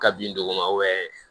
Ka bin dogo ma